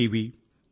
V F